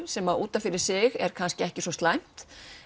sem útaf fyrir sig er ekki svo slæmt